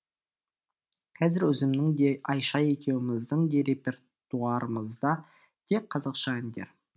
қазір өзімнің де аиша екеуміздің де репертуарымызда тек қазақша әндер